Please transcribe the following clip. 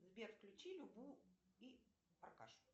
сбер включи любу и аркашу